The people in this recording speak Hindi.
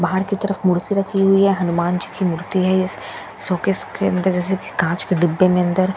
बाहर की तरफ मूर्ति रखी हुई है हनुमान जी की मूर्ति है इस शोकेस के अंदर जैसे कि कांच के डिब्बे में अंदर --